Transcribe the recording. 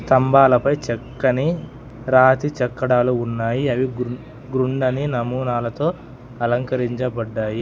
స్తంభాలపై చక్కని రాతి చెక్కడాలు ఉన్నాయి అవి గృం గ్రుండని నమూనాలతో అలంకరించబడ్డాయి.